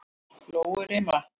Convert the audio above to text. Lóurima